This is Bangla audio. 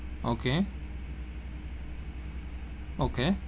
Okay okay.